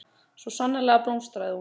Svo sannarlega blómstraði hún.